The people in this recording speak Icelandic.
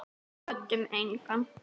Kvöddum engan.